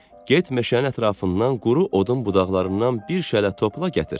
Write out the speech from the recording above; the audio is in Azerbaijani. Get meşənin ətrafından quru odun budaqlarından bir şələ topla gətir.